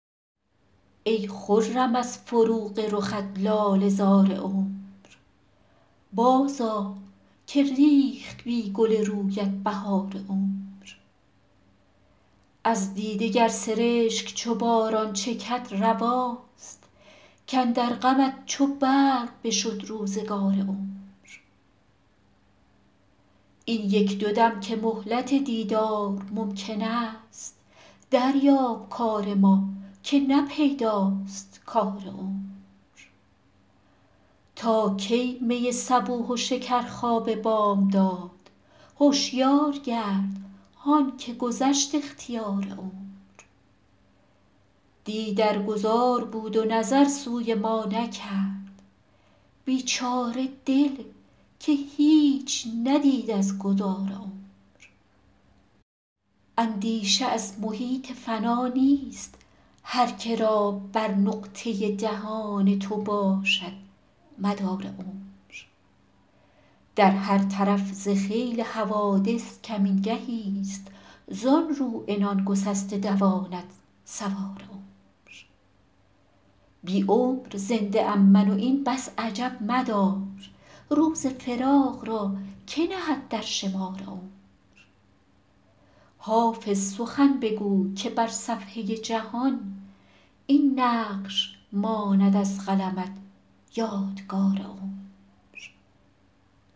ای خرم از فروغ رخت لاله زار عمر بازآ که ریخت بی گل رویت بهار عمر از دیده گر سرشک چو باران چکد رواست کاندر غمت چو برق بشد روزگار عمر این یک دو دم که مهلت دیدار ممکن است دریاب کار ما که نه پیداست کار عمر تا کی می صبوح و شکرخواب بامداد هشیار گرد هان که گذشت اختیار عمر دی در گذار بود و نظر سوی ما نکرد بیچاره دل که هیچ ندید از گذار عمر اندیشه از محیط فنا نیست هر که را بر نقطه دهان تو باشد مدار عمر در هر طرف ز خیل حوادث کمین گهیست زان رو عنان گسسته دواند سوار عمر بی عمر زنده ام من و این بس عجب مدار روز فراق را که نهد در شمار عمر حافظ سخن بگوی که بر صفحه جهان این نقش ماند از قلمت یادگار عمر